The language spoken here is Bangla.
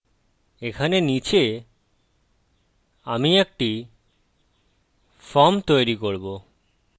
এখানে নীচে আমি একটি ফর্ম তৈরী করব